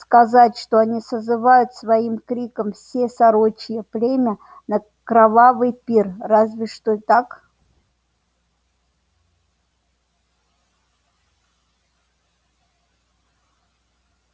сказать что они созывают своим криком все сорочье племя на кровавый пир разве что так